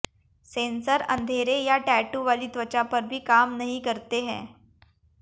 sensor अंधेरे या tattoo वाली त्वचा पर भी काम नहीं करते हैं